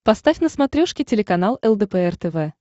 поставь на смотрешке телеканал лдпр тв